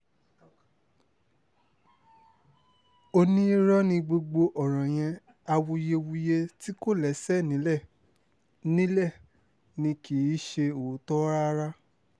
ó ní irọ́ ni gbogbo ọ̀rọ̀ yẹn awuyewuye tí kò lẹ́sẹ̀ nílẹ̀ ni nílẹ̀ ni kì í ṣe òótọ́ rárá